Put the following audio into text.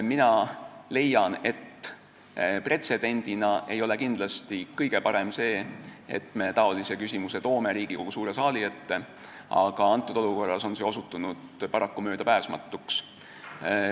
Mina leian, et pretsedendina ei ole kindlasti kõige parem see, et me sellise küsimuse toome Riigikogu suure saali ette, aga antud olukorras on see osutunud paraku möödapääsmatuks.